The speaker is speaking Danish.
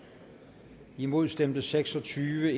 imod stemte seks og tyve